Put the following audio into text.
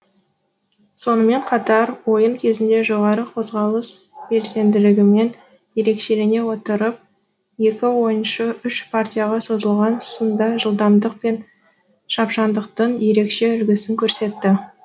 сонымен қатар ойын кезінде жоғары қозғалыс белсенділігімен ерекшелене отырып екі ойыншы үш партияға созылған сында жылдамдық пен шапшаңдықтың ерекше үлгісін көрсетті